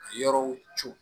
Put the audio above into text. Yɔrɔw co